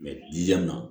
na